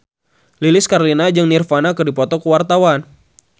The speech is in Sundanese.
Lilis Karlina jeung Nirvana keur dipoto ku wartawan